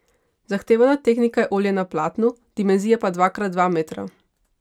Zahtevana tehnika je olje na platnu, dimenzija pa dva krat dva metra.